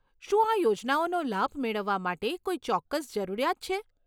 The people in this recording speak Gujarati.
શું આ યોજનાઓનો લાભ મેળવવા માટે કોઈ ચોક્કસ જરૂરિયાત છે?